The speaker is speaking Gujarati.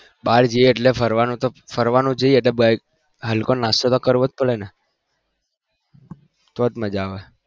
બાર જઈએ એટલે ફરવાનું જોઈએ એટલે હલકો નાસ્તો તો કરવો પડે ને તો જ મજા આવે